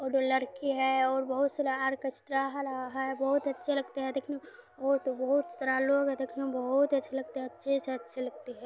उधर लड़की है और बहोत सारा आर्केएस्ट्रा हो रहा है बहुत अच्छे लगते है देखने मे और तो बहोत सारा लोग है देखने मे बहुत अच्छे लगते है अच्छे से अच्छे लगते है।